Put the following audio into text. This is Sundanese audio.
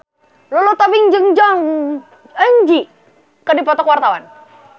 Lulu Tobing jeung Jong Eun Ji keur dipoto ku wartawan